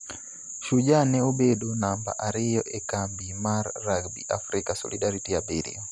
Shujaa ne obedo namba ariyo e kambi mar Rugby Africa Solidarity abiriyo.